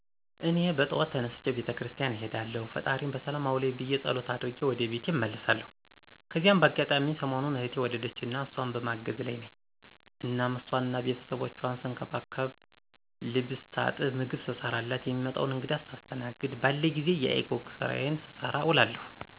እኔ በጠዋት ተነስቼ ቤተ ክርስቲያን እሄዳለሁ ፈጣሪየን በሰላም አዉለኝ ብየ ፀሎቴን አድርጌ ወደ ቤቴ እመለሳለሁ። ከዚያ በአጋጣሚ ሰሞኑን እህቴ ወለደችና እሷን በማገዝ ላይ ነኝ እናም ሷንና ቤተሰቦቿን ስንከባከብ፣ ልብስ ሳጥብ፣ ምግብ ስሰራላት፣ የሚመጣዉን እንግዳ ሳስተናግድ፣ ባለኝ ጊዜ የiCog ስራየን ስሰራ እዉላለሁ።